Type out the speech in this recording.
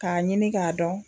K'a ɲini k'a dɔn